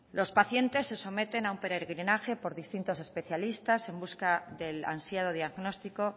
los pacientes se someten a un peregrinaje por distintos especialistas en busca del ansiado diagnóstico